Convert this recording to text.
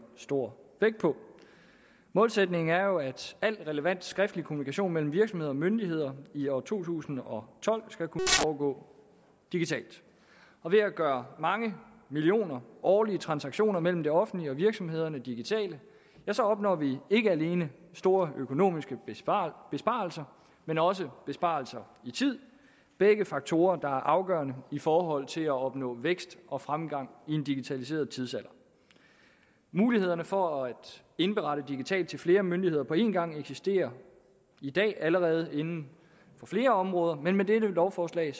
stor vægt på målsætningen er jo at al relevant skriftlig kommunikation mellem virksomheder og myndigheder i år to tusind og tolv skal kunne foregå digitalt og ved at gøre mange millioner årlige transaktioner mellem det offentlige og virksomhederne digitale opnår vi ikke alene store økonomiske besparelser besparelser men også besparelser i tid begge faktorer der er afgørende i forhold til at opnå vækst og fremgang i en digitaliseret tidsalder mulighederne for at indberette digitalt til flere myndigheder på en gang eksisterer i dag allerede inden for flere områder men med dette lovforslag